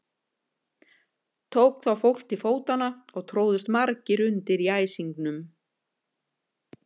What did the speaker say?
Tók þá fólk til fótanna og tróðust margir undir í æsingnum.